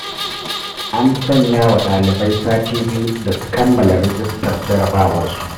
An sanyawa dalibai sati biyu da su kammala rijistar jarabawarsu.